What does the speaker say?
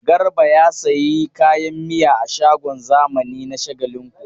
Garba ya sayi kayan miya a shagon zamani na Shagalinku.